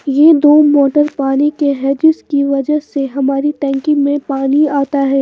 ये दो मोटर पानी के हैं जिसकी वजह से हमारी टैंकी में पानी आता है।